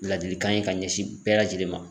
Ladilikan in ka ɲɛsin bɛɛ lajɛlen ma.